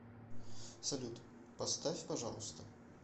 салют поставь пожалуйста